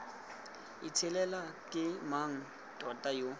itshelela ke mang tota yo